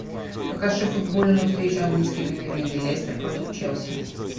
покажи футбольную встречу английской премьер лиги лестер против челси